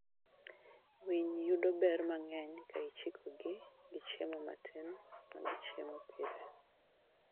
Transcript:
Winy yudo ber mang'eny ka ichikogi gi chiemo matin ma gichiemo pile.